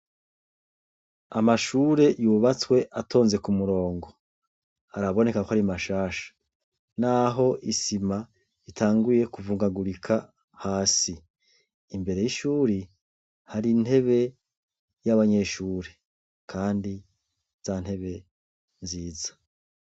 Amashure yubatsw' atonze k' umurongo, araboneka k' arimashasha nah' isim' itanguye kuvungagurika hasi, imbere y'ishuri har' intebe y' abanyeshure kandi za ntebe nziza.